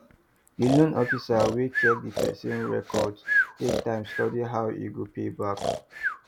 di loan officer wey check di person record take time study how e go pay back